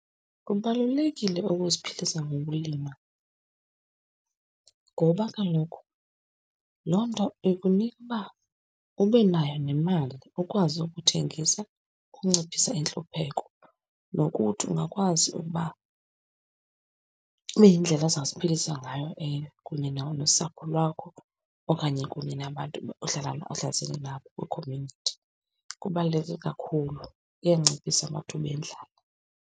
Kubalulekile ukuziphilisa ngokulima ngoba kaloku loo nto ikunika uba ube nayo nemali, ukwazi ukuthengisa ukunciphisa intlupheko. Nokuthi ungakwazi ukuba ibe yindlela ozaziphilisa ngayo eyo, kunye nosapho lwakho, okanye kunye nabantu ohlala ohlalisene nabo kwi-community. Kubaluleke kakhulu, kuyanciphisa amathuba endlala.